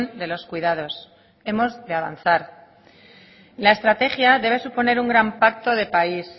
de los cuidados hemos de avanzar la estrategia debe suponer un gran pacto de país